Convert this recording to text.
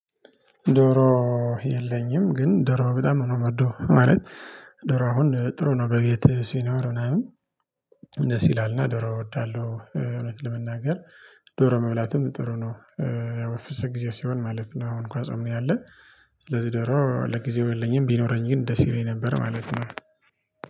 ዶሮ የለኝም ግን ዶሮ በጣም ነው የምወደው ማለት ዶሮ አሁን ጥሩ ነው በቤት ሲኖር ምናምን ደስ ይላልና ዶሮ እወዳለሁ። እውነት ለመናገር ዶሮ መብላትም ጥሩ ነው። ያው በፍሰት ጊዜ ሲሆን ማለት ነው አሁን ኳስ አምኔ አለ። ስለዚህ ደግሞ ለጊዜው የለኝም ቢኖረኝ ግን ደስ ይለኝ ነበር ማለት ነው